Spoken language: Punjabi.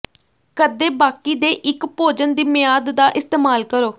ਕਦੇ ਬਾਕੀ ਦੇ ਇੱਕ ਭੋਜਨ ਦੀ ਮਿਆਦ ਦਾ ਇਸਤੇਮਾਲ ਕਰੋ